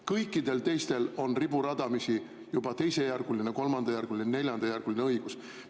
Kõikidel teistel on riburadamisi juba teisejärguline, kolmandajärguline, neljandajärguline õigus.